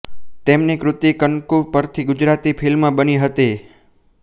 તેમની કૃતિ કંકુ પરથી ગુજરાતી ફિલ્મ બની હતી